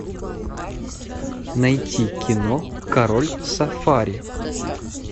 найти кино король сафари